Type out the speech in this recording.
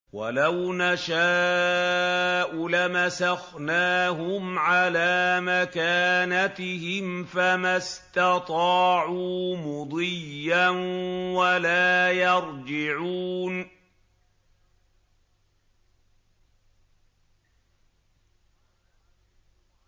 وَلَوْ نَشَاءُ لَمَسَخْنَاهُمْ عَلَىٰ مَكَانَتِهِمْ فَمَا اسْتَطَاعُوا مُضِيًّا وَلَا يَرْجِعُونَ